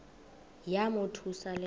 yamothusa le nto